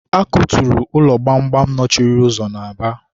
a kuturu ụlọ gbamgbam nọchiri ụzọ na Aba.